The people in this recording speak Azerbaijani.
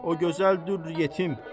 Ah o gözəldir yetim.